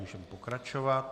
Můžeme pokračovat.